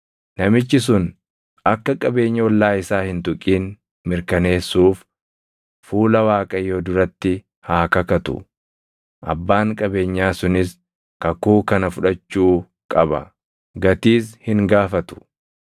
namichi sun akka qabeenya ollaa isaa hin tuqin mirkaneessuuf fuula Waaqayyoo duratti haa kakatu; abbaan qabeenyaa sunis kakuu kana fudhachuu qaba; gatiis hin gaafatu.